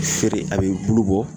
Feere a be bulu bɔ